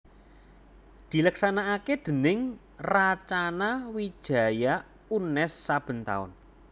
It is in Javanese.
dileksanakaké déning Racana Wijaya Unnes saben taun